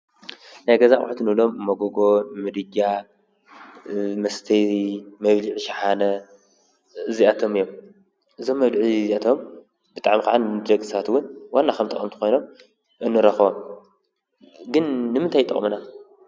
ናይ ገዛ ኣቁሑት እንብሎም መጎጎ ፣ምድጃ፣ መስተዪ ፣መብልዒ ሸሓነ እዚኣቶም እዮም፤ እዞም መብልዒ እዚኣቶም ብጣዕሚ ከዓ ንደቂ ሰባት ዉን ዋና ከም ጠቀምቲ ኮይኖም እንረክቦም ። ግን ንምንታይ ይጠቅሙና?